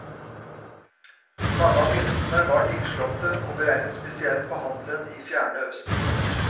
Mange av myntene var nyslåtte og beregnet spesielt på handelen i fjerne østen.